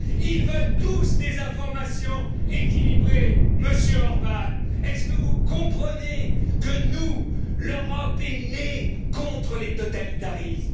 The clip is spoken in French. Chine? Ils veulent tous des informations équilibrées. Monsieur Orbán, est ce que vous comprenez que l'Europe est née contre les totalitarismes?